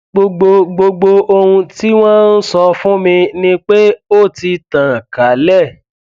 gbogbo gbogbo ohun tí wọn sọ fún mi ni pé ó ti tàn kálẹ